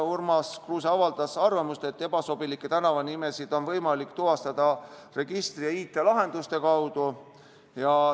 Urmas Kruuse avaldas arvamust, et ebasobilikke tänavanimesid on võimalik tuvastada registri ja IT-lahenduste kaudu.